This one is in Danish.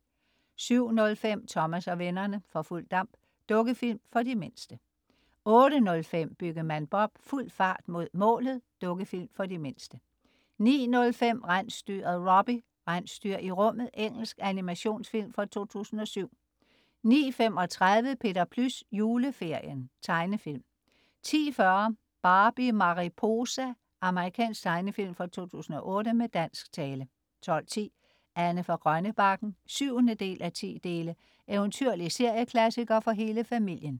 07.05 Thomas og vennerne: For fuld damp. Dukkefilm for de mindste 08.05 Byggemand Bob: Fuld fart mod målet. Dukkefilm for de mindste 09.05 Rensdyret Robbie: Rensdyr i rummet. Engelsk animationsfilm fra 2007 09.35 Peter Plys. Juleferien. Tegnefilm 10.40 Barbie Mariposa. Amerikansk tegnefilm fra 2008 med dansk tale 12.10 Anne fra Grønnebakken 7:10. Eventyrlig serieklassiker for hele familien